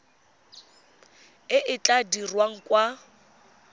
e e tla dirwang kwa